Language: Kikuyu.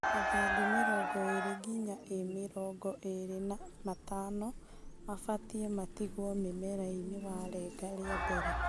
Mathangũ mĩrongo ĩri nginya imĩrongo ĩri na matano mabatie matigwo mũmerainĩ warenga rĩa mbere.